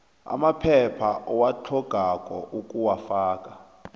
amaphepha owatlhogako ukuwafaka